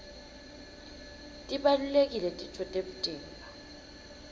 tibalulekile titfo temtimba